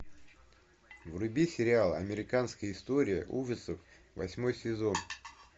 вруби сериал американская история ужасов восьмой сезон